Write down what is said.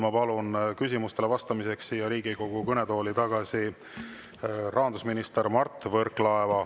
Ma palun küsimustele vastamiseks Riigikogu kõnetooli tagasi rahandusminister Mart Võrklaeva.